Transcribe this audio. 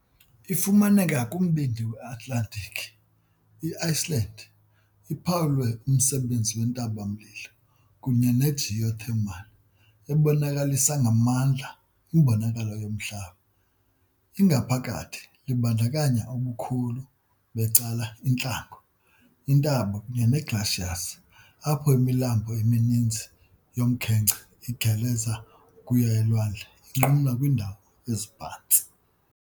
Ifumaneka kumbindi we-Atlantiki, i-Iceland iphawulwe umsebenzi wentaba-mlilo kunye ne-geothermal, ebonakalisa ngamandla imbonakalo yomhlaba. Ingaphakathi libandakanya ubukhulu becala intlango, iintaba kunye ne-glaciers, apho imilambo emininzi yomkhenkce igeleza ukuya elwandle, inqumla kwiindawo eziphantsi.